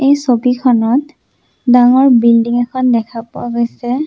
এই ছবিখনত ডাঙৰ বিল্ডিং এখন দেখা পোৱা গৈছে।